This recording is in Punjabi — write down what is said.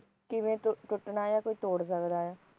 ਕਿਵੇਂ ਟੁੱਟਣਾ ਆ ਕੋਈ ਤੋੜ ਸਕਦੇ ਆ